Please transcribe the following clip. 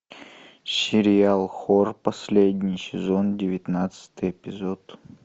сериал хор последний сезон девятнадцатый эпизод